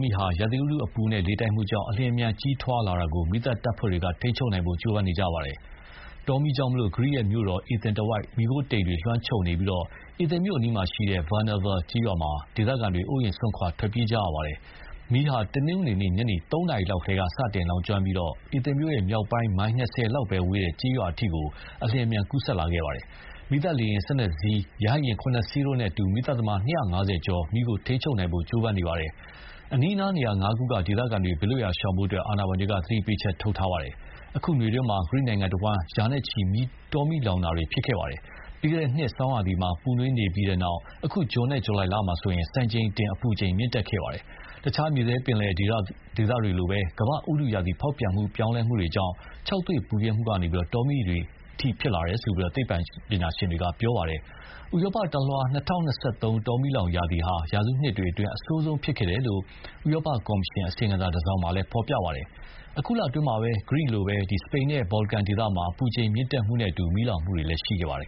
မီးဟာ ရာသီဥတုအပူနဲ့ လေတိုက်မှုကြောင့် အလျင်အမြန်ကြီးထွားတာကို မီးသတ်တပ်ဖွဲ့တွေက ထိန်းချုပ်နိုင်ဖို့ ကြိုးပမ်းနေကြပါတယ်။ တောမီးကြောင့် ဂရိမြို့တော် အေသင်တဝိုက် မီးခိုးတိမ်တွေလွှမ်းခြုံနေပြီး အေသင်မြို့အနီးက Varnava ကျေးရွာမှာတော့ ဒေသခံတွေ အိုးအိမ်စွ့န်ခွာ တိမ်းရှောင်ကြရပါတယ်။ မီးဟာ တနင်္ဂနွေ နေ့ ညနေ ၃ နာရီလောက် စတင်လောင်ကျွမ်းခဲ့ပြီး အေသင်မြို့မြောက်ပိုင်း မိုင် ၂၀ လောက်ပဲဝေးတဲ့ ကျေးရွာအထိ အလျင်အမြန် ကူးစက်လာခဲ့ပါတယ်။ မီးသတ် လေယာဉ် ၁၂ စင်း၊ ရဟတ်ယဉ် ၇ စင်းတို့နဲ့အတူ မီးသတ်သမား ၂၅၀ ကျော်ဟာ မီးကို ထိန်းချုပ်နိုင်ဖို့ ကြိုးပမ်းနေကြပါတယ်။ အနီးအနားနေရာငါးခုက ဒေသခံတွေ ဘေးလွတ်ရာရှောင်ဖို့ အာဏာပိုင်တွေက သတိပေးချက်ထုတ်နေပါတယ်။ အခုနွေရာသီအတွင်းမှာ ဂရိနိုင်ငံတဝန်း ရာနဲ့ချီပြီး တောမီးလောင်ခဲ့ပါတယ်။ ပြီးခဲ့တဲ့နှစ် ဆောင်းရာသီမှာ ပူနွေးနေခဲ့ပြီး နောက် အခု ဇွန်နဲ့ ဇူလှိုင်မှာဆိုရင် စံချိန်တင် အပူချိန် မြင့်တက်ခဲ့ပါတယ်။ တခြားမြေထဲပင်လယ်ဒေသတွေမှာလိုပဲ ကမ္ဘာ့ ဥတုရာသီဖောက်ပြန်ပြောင်းလဲမှုကြောင့် ခြောက်သွေ့ပူပြင်းမှုကနေ တောမီးလောင်တွေအထိ ဖြစ်လာတာလို့ သိပ္ပံပညာရှင်တွေက ပြောပါတယ်။ ဥရောပတလွှား ၂၀၂၃ တောမီးလောင်ရာသီဟာ ရာစုနှစ်အတွင်း အဆိုးဆုံးဖြစ်ခဲ့တယ်လို့ ဥရောပကော်မရှင်အစီရင်ခံစာ တစောင်မှာဖော်ပြပါတယ်။ အခုလအတွင်းမှာပဲ ဂရိနိုင်ငံလိုပဲ စပိန်နဲ့ ဘော်လကန်ဒေသမှာ အပူချိန်မြင့်တက်မှုနဲ့အတူ မီးလောင်မှုတွေရှိခဲ့ပါတယ်